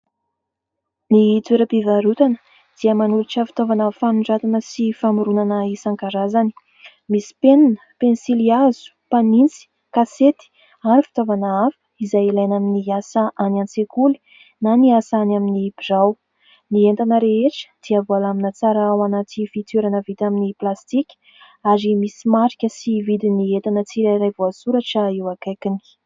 Ny toeram-pivarotana dia manolotra fitaovana fanoratana sy famoronana isan-karazany. Misy penina, pensilihazo mpanitsy, kasety ary fitaovana hafa izay ilaina amin'ny asa any an-tsekoly na ny asa any amin'ny birao. Ny entana rehetra dia voalamina tsara ao anaty fitoerana vita amin'ny plastika ary misy marika sy vidin'ny entana tsirairay voasoratra eo akaikiny.